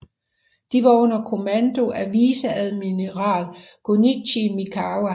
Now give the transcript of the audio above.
De var under kommando af viceadmiral Gunichi Mikawa